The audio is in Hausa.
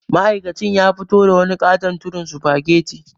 Ma'aikacin ya fito da wani ƙaton tudun sufageti.